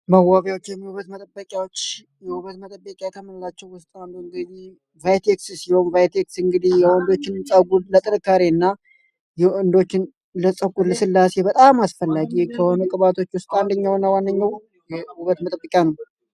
መዋቢያዎችን ወይም የውበት መጠበቂያዎች ከምንላቸው ውስጥ እንግዲህ አንዱ ቫይቴክስ ሴሆን ቫይቴክስ እንግዲህ የወንዶችንም ፀጉር ለጥንካሬ እና የወንዶችን ለፀጉር ልስላሴ በጣም አስፈላጊ ከሆኑ ቅባቶች ወስጥ አንደኛው እና ዋነኛው የውበት መጠበቂያ ነው።